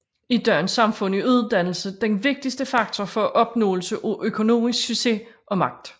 I dagens samfund er uddannelse den vigtigste faktor for opnåelse af økonomisk succes og magt